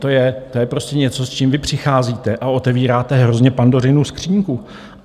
To je prostě něco, s čím vy přicházíte, a otevíráte hrozně Pandořinu skříňku.